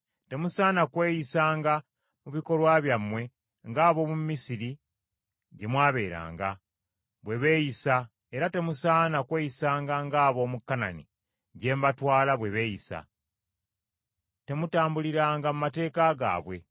Temusaana kweyisanga mu bikolwa byammwe ng’ab’omu Misiri, gye mwabeeranga, bwe beeyisa, era temusaana kweyisanga ng’ab’omu Kanani, gye mbatwala, bwe beeyisa. Temutambuliranga mu mateeka gaabwe.